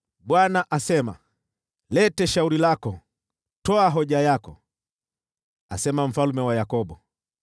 Bwana asema, “Leta shauri lako. Toa hoja yako,” asema Mfalme wa Yakobo.